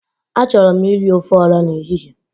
Achọrọ m iri ofe ọra n'ehihe.